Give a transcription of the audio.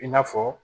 I n'a fɔ